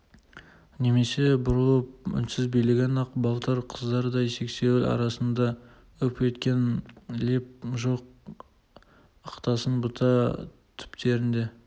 немесе бұралып үнсіз билеген ақ балтыр қыздардай сексеуіл арасында үп еткен леп жоқ ықтасын бұта түптерінде